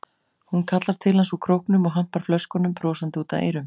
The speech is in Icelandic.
Hún kallar til hans úr króknum og hampar flöskunum brosandi út að eyrum.